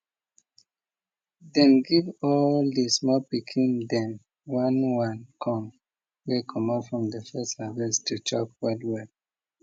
dem give all de small pikin dem one one corn wey comot from de first harvest to chop well well